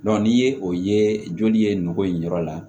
ni ye o ye joli ye nɔgɔ in yɔrɔ la